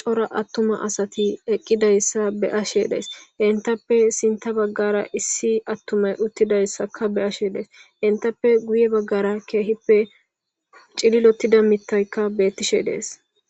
cora attuma asati eqqidayssa be ashe dees entappe sinta baggara issi attumay uttidayssaka be ashe dees entappe guye baggara keehippe cililottida mittaykka bettishe dees